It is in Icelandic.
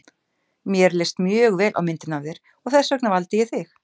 Mér leist mjög vel á myndina af þér og þess vegna valdi ég þig.